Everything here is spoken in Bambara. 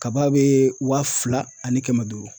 Kaba bɛ wa fila ani kɛmɛn duuru.